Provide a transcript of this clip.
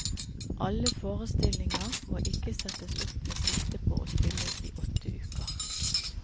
Alle forestillinger må ikke settes opp med sikte på å spilles i åtte uker.